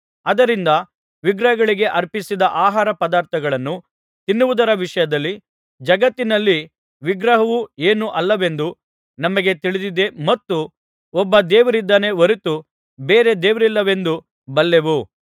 ಆದ್ದರಿಂದ ವಿಗ್ರಹಗಳಿಗೆ ಅರ್ಪಿಸಿದ ಆಹಾರಪದಾರ್ಥಗಳನ್ನು ತಿನ್ನುವುದರ ವಿಷಯದಲ್ಲಿ ಜಗತ್ತಿನಲ್ಲಿ ವಿಗ್ರಹವು ಏನೂ ಅಲ್ಲವೆಂದು ನಮಗೆ ತಿಳಿದಿದೆ ಮತ್ತು ಒಬ್ಬ ದೇವರಿದ್ದಾನೆ ಹೊರತು ಬೇರೆ ದೇವರಿಲ್ಲವೆಂದೂ ಬಲ್ಲೆವು